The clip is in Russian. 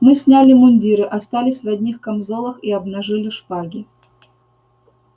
мы сняли мундиры остались в одних камзолах и обнажили шпаги